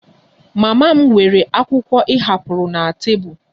Mama m weere akwụkwọ ị hapụrụ na tebụl